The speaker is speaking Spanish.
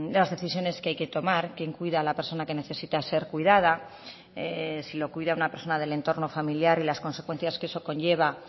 las decisiones que hay que tomar quién cuida a la persona que necesita ser cuidada si lo cuida una persona del entorno familiar y las consecuencias que eso conlleva